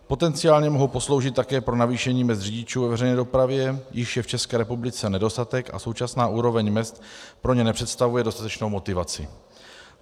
Potenciálně mohou posloužit také pro navýšení mezd řidičům ve veřejné dopravě, jichž je v České republice nedostatek, a současná úroveň mezd pro ně nepředstavuje dostatečnou motivaci.